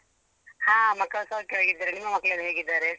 ಹಾ ಮಕ್ಕಳು ಸೌಖ್ಯವಾಗಿ ಇದ್ದಾರೆ. ನಿಮ್ಮ ಮಕ್ಕಳೆಲ್ಲ ಹೇಗಿದ್ದಾರೆ?